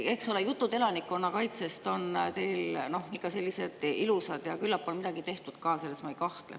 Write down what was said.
Eks ole, jutud elanikkonnakaitsest on teil ikka sellised ilusad ja küllap on midagi tehtud ka, selles ma ei kahtle.